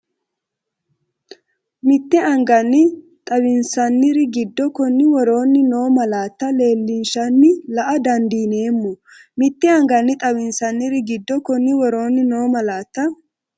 Mitte anganni xawinsanniri giddo konni woroonni noo malaatta leel- linshanni la”a dandiineemmo Mitte anganni xawinsanniri giddo konni woroonni noo malaatta.